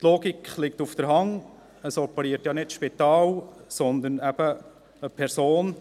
Die Logik liegt auf der Hand, es operiert ja nicht das Spital, sondern eine Person.